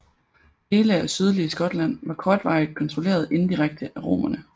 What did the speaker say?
Dele af sydlige Skotland var kortvarigt kontrolleret indirekte af romerne